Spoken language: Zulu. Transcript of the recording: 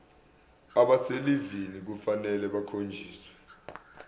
abaselivini kufanele bakhonjiswe